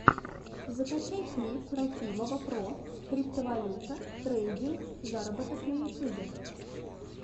закачай клип рахимова про криптовалюта трейдинг заработок на ютюбе